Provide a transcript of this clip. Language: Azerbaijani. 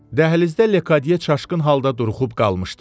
Dəhlizdə Lekadye çaşqın halda duruxub qalmışdı.